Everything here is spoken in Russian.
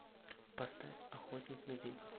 поставь охотник на ведьм